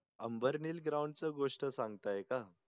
आंबर्नेल ground ची गोष्ट सांगतंय का